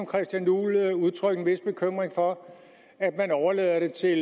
christian juhl udtrykke en vis bekymring for at man overlader det til